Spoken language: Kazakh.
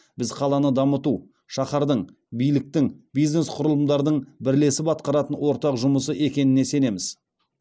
біз қаланы дамыту шаһардың биліктің бизнес құрылымдардың бірлесіп атқаратын ортақ жұмысы екеніне сенеміз